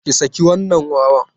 Ki saki wannan wawan!